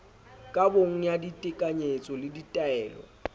kabong ya ditekanyetso le ditaelong